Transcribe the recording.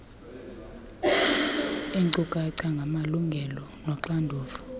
ziinkcukacha ngamalungelo noxanduva